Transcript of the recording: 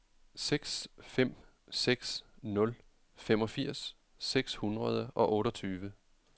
seks fem seks nul femogfirs seks hundrede og otteogtyve